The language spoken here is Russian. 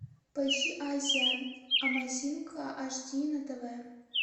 поищи азия амазинг ашди на тв